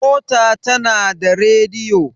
mota tana da rediyo